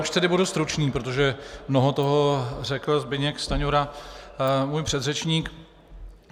Už tedy budu stručný, protože mnoho toho řekl Zbyněk Stanjura, můj předřečník.